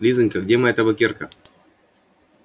лизанька где моя табакерка